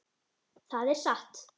Það er ekki satt.